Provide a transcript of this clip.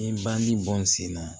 Ni bandi bɔn n sen na